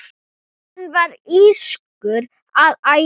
Hann var írskur að ætt.